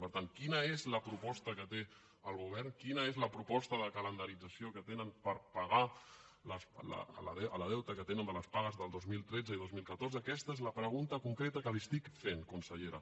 per tant quina és la proposta que té el govern quina és la proposta de calendarització que tenen per pagar el deute que tenen de les pagues del dos mil tretze i dos mil catorze aquesta és la pregunta concreta que li estic fent consellera